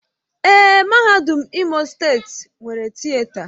Èé, Mahadum Imo steeti nwere Tịeta.